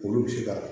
Olu bɛ se ka